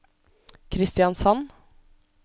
Kristiansand